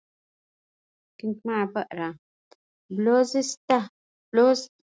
Blóðtappi er blóð sem storknað hefur í æð og getur stíflað hana.